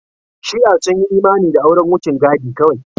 Shi'a sun yi imani da auren wucin gadi kawai.